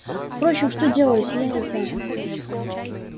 впрочем что делать я не знаю